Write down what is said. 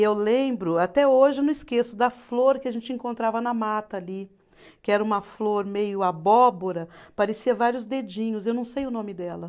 E eu lembro, até hoje eu não esqueço, da flor que a gente encontrava na mata ali, que era uma flor meio abóbora, parecia vários dedinhos, eu não sei o nome dela.